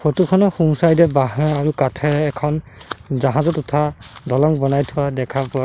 photo খনৰ সোঁ side এ বাঁহে আৰু কাঠেৰে এখন জাহাজত উঠা দলং বনাই থোৱা দেখা পোৱা--